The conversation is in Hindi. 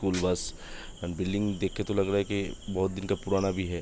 बिल्डिंग देख के तो लग रहा है के बोहत दिन का पुराना भी है ।